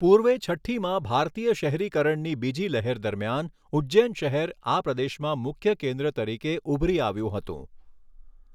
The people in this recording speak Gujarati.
પૂર્વે છઠ્ઠીમાં ભારતીય શહેરીકરણની બીજી લહેર દરમિયાન ઉજ્જૈન શહેર આ પ્રદેશમાં મુખ્ય કેન્દ્ર તરીકે ઉભરી આવ્યું હતું.